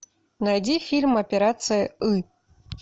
найди фильм операция ы